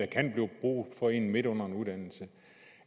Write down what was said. kan blive brug for en midt under den uddannelse